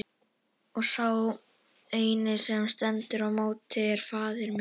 Og sá eini sem stendur í móti er faðir minn!